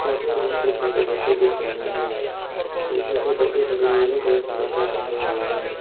Photo में बहुत से छोटे बच्चे दिख रहे हैं वे छोटे बच्चे सभी नीले कलर की कपड़े पेहने हुए है।